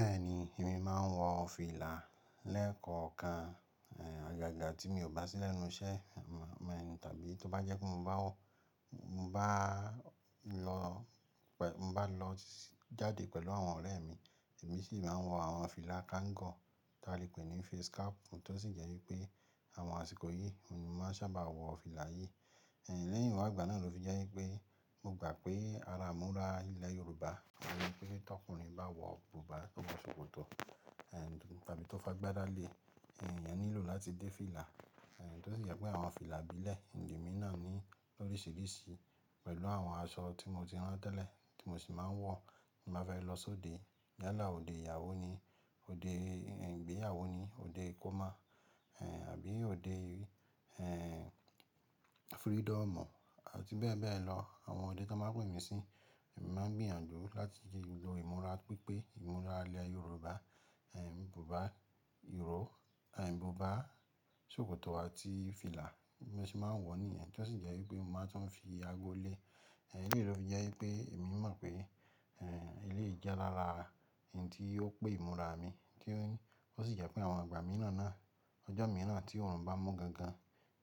Bẹ́ẹ̀ni, èmi máa ń wọ fìlà lẹ́ ko kan. Àgàgà tí mi ò bá sí lẹ́nu iṣẹ́ tàbí tó bá jẹ́ pé mo ba bá lọ jáde pẹ̀lú àwọn ọ̀rẹ́ mi, èmi sì máa ń wọ àwọn fìlà káǹgọ̀ tí a lè pè ní face cap, tó sì jẹ́ wípé àwọn àsìkò yìí mo máa ń sábà wọ fìlà yìí. Lẹ́yìn ìwà ìgbà náà ló fi jẹ́ wípé mo gbà pé ara ìmúra ilẹ̀ Yorùbá o ni wípé tí ọkùnrin bá wọ bùbá tóbá sòkòtò tàbí tó bá gbé dá lé, ìyẹn nílò láti dé fìlà. Tó sì jẹ́ pé àwọn fìlà ìbílẹ̀ ìjì mi náà ní oríṣiríṣi pẹ̀lú àwọn aṣọ tí mo ti rán tẹ́lẹ̀ tí mo sì máa ń wọ tí màá fẹ́ lọ sóde yálà òde ìyàwó ni, òde ìgbéyàwó ni, òde ìkómọ àbí òde freedom àti bẹ́ẹ̀ bẹ́ẹ̀ lọ. Àwọn òde tó máa pè mí sí, èmi máa ń gbìyànjú láti yí i lo ìmúra pípé ìmúra ilẹ̀ Yorùbá, bùbá ìró, bùbá sòkòtò àti fìlà mo sì máa ń wọ ní èyẹn, tó sì jẹ́ wípé mo máa ń tún fi ago lé. Òhẹ fi jẹ́ wípé èmi mọ̀ pé eléyìí jẹ́ lára ohun tí ó pé ìmúra mi, kí wọ́n sì jẹ́ pé àwọn ìgbà mìíràn náà, ọjọ́ mìíràn tí oòrùn bá mú gangan,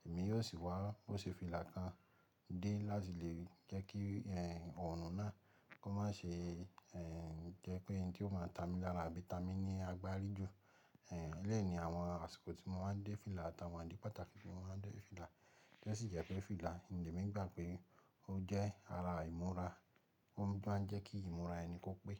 èmi yóò sì wọ òṣùfìlà kan dé láti lè rí, jẹ́ kí oòrùn náà kó má ṣe jẹ́ pé ohun tí ó máa ta mí lára àbí ta mí ní agbárí ju. Eleyiii ni àwọn àsìkò tí mo máa ń dé fìlà àtàwọn àdìpátàkì tí mo máa ń dé fìlà, tó sì jẹ́ pé fìlà ìjì mi gbà pé ó jẹ́ ara ìmúra, ó máa ń jẹ́ kí ìmúra ẹni kó pé.